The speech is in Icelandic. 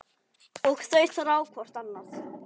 Og þau þrá hvort annað.